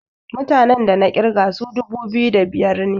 mutanen da na kirga su dubu biyu da biyar ne